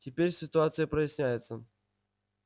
теперь ситуация проясняется